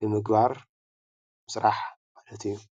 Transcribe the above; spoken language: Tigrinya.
ንምግባር ስራሕ ማሐት እዪ ።